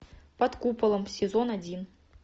под куполом сезон один